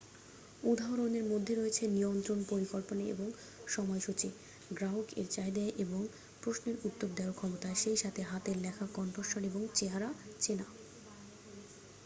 উদাহরণের মধ্যে রয়েছে নিয়ন্ত্রণ পরিকল্পনা এবং সময়সূচী গ্রাহক এর চাহিদা এবং প্রশ্নের উত্তর দেওয়ার ক্ষমতা সেই সাথে হাতের লেখা কণ্ঠস্বর এবং চেহারা চেনা